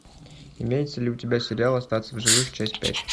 имеется ли у тебя сериал остаться в живых часть пять